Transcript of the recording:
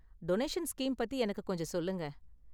Donation scheme பத்தி எனக்கு கொஞ்சம் சொல்லுங்க.